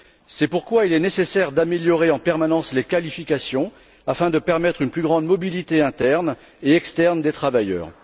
C'est pourquoi il est nécessaire d'améliorer en permanence les qualifications afin de permettre une plus grande mobilité interne et externe des travailleurs.